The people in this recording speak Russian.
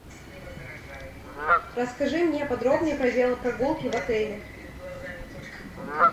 расскажи мне подробнее про велопрогулки в отеле